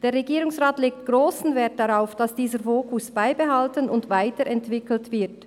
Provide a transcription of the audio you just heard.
Der Regierungsrat legt grossen Wert darauf, dass dieser Fokus beibehalten und weiterentwickelt wird.